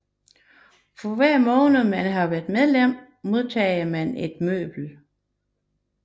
For hver måned man har været medlem modtaget man et møbel